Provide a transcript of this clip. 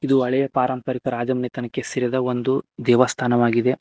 ಇದು ಹಳೆಯ ಪಾರಂಪರಿಕ ರಾಜಮನೆತನಕ್ಕೆ ಸೇರಿದ ಒಂದು ದೇವಸ್ಥಾನವಾಗಿದೆ.